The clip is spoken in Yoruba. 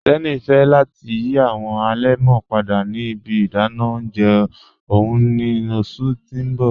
Teni fẹ̀ lati yí awọn alẹmọ́ padà ni ibi ìdànà ọ̀unjẹ ọ̀un ni ọṣù ti n bọ̀